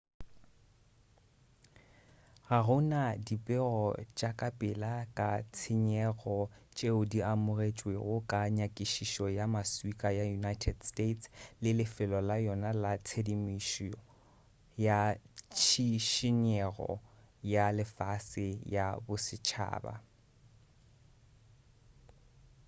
ga go na dipego tša kapela ka tshenyego tšeo di amogetšwego ka nyakišišo ya maswika ya united states usgs le lefelo la yona la tshedimošo ya tšhišinyego ya lefase ya bosetšhaba